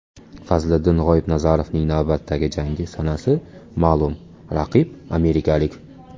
Fazliddin G‘oibnazarovning navbatdagi jangi sanasi ma’lum, raqib amerikalik.